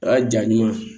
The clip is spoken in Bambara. A ja ɲuman